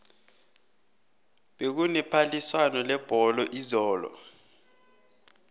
bekune phaliswano lebholo izolo